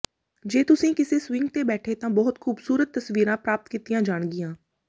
ਜੇ ਤੁਸੀਂ ਕਿਸੇ ਸਵਿੰਗ ਤੇ ਬੈਠੇ ਤਾਂ ਬਹੁਤ ਖੂਬਸੂਰਤ ਤਸਵੀਰਾਂ ਪ੍ਰਾਪਤ ਕੀਤੀਆਂ ਜਾਣਗੀਆਂ